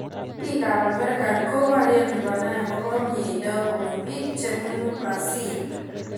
Bik ab amerika ko barye konai akopo mnyendo kobun bik chebunu brazil.